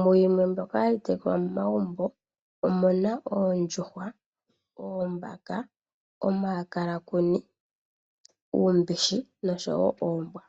Mwaa mbyoka hayi tekulwa momagumbo omu na oondjuhwa, oombaka, omakalakuni, uumbishi noshowo oombwa.